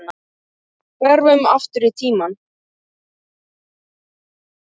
Hverfum aftur í tímann.